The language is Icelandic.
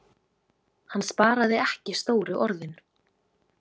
Hann sparaði ekki stóru orðin.